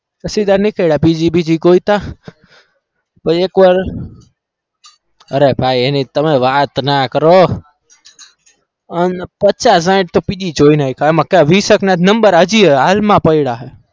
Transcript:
પછી ત્યાંથી નીકળ્યા PG બીજી ગોત્યા પછી એકવાર અરે ભાઈ એની તમે વાત ના કરો અમ પચાસ સાઈઠ તો PG જોઈ નાખ્યા એમાં વીસ એકના number હજી હાલમાં પડ્યા છે.